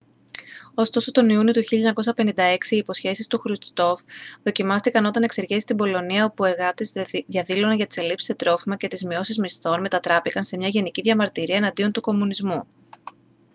ωστόσο τον ιούνιο του 1956 οι υποσχέσεις του χρουστσόφ δοκιμάστηκαν όταν εξεγέρσεις στην πολωνία όπου εργάτες διαδήλωναν για τις ελλείψεις σε τρόφιμα και τις μειώσεις μισθών μετατράπηκαν σε μια γενική διαμαρτυρία εναντίον του κομμουνισμού